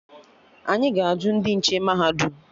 Anyị ga-ajụ ndị nche mahadum